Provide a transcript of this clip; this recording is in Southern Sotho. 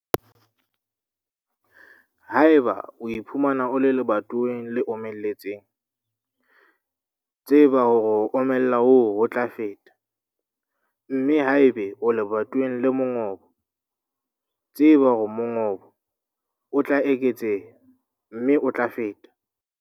Haeba o iphumana o le lebatoweng le omeletseng, tseba hore ho omella hoo ho tla feta, mme haeba o le lebatoweng le mongobo, tseba hore mongobo o tla eketseha, mme o tla feta.